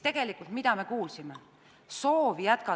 Tegelikult, mida me kuulsime?